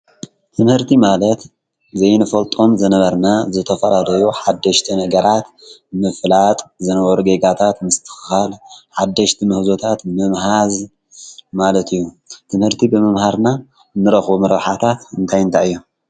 ትምህርቲ ማለት ዘይንፈልጦም ዝነበርና ዝተፈላለዩ ሓደሽቲ ነገራት ምፍላጥ ዝነበሩ ጌጋታት ምስትክካል ሓደሽቲ ሙህዞታት ምምሃዝ ማለት እዩ፡፡ ትምህርቲ ብምምሃርና እንረክቦም ረብሓታት እንታይ እንታይ እዮም?